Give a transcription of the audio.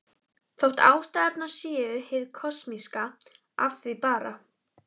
Þótt ástæðurnar séu hið kosmíska af því bara.